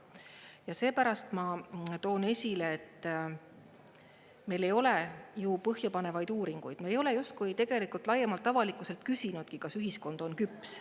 Ja seepärast ma toon esile, et meil ei ole ju põhjapanevaid uuringuid, me ei ole justkui tegelikult laiemalt avalikkuselt küsinudki, kas ühiskond on küps.